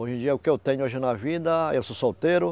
Hoje em dia, o que eu tenho hoje na vida, eu sou solteiro.